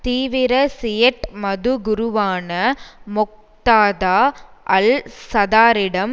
தீவிர சியைட் மது குருவான மொக்தாதா அல் சதாரிடம்